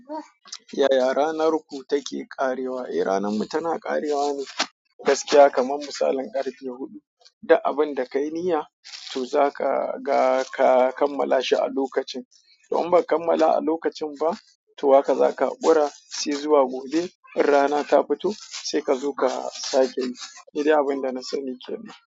Yaya ranar ku take ƙarewa? Eh ranar mu tana ƙarewa ne gaskiya kamar misalin karfe huɗu. Da abin da ka yi niyya to zaka ga ka kammala shi a lokacin. Toh in baka kammala a lokacin ba toh haka zaka hakura, sai zuwa gobe in rana ta fito sai kazo ka sake yi nidai abin da na sani ke nan.